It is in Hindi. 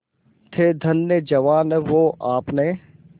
थे धन्य जवान वो आपने